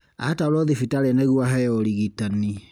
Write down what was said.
Atwarwo thibitarĩ nĩguo aheo ũrigitani.